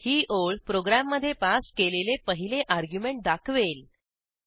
ही ओळ प्रोग्रॅममधे पास केलेले पहिले अर्ग्युमेंट दाखवेल